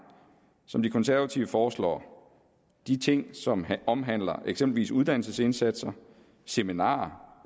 som de konservative foreslår de ting som omhandler eksempelvis uddannelsesindsatser seminarer